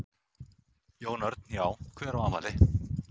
Jón Örn: Já hver á afmæli?